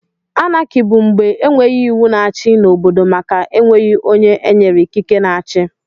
Anarchi bụ mgbe enweghị iwu na-achi n'obodo màkà enweghi ónyé enyere ikike na-achi.